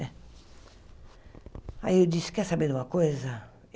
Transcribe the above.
Aí eu disse, quer saber de uma coisa?